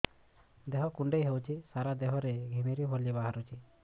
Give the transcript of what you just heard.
ଦେହ କୁଣ୍ଡେଇ ହେଉଛି ସାରା ଦେହ ରେ ଘିମିରି ଭଳି ବାହାରୁଛି